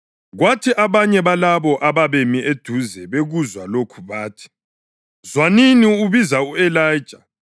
Kwathi abanye balabo ababemi eduzane bekuzwa lokho bathi, “Zwanini, ubiza u-Elija.”